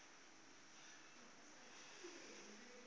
yeo a bego a tlo